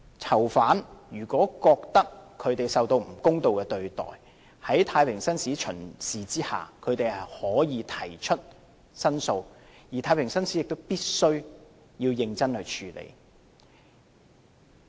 囚犯如果覺得受到不公道的對待，在太平紳士巡視期間，他們可以提出申訴，而太平紳士亦必須認真處理。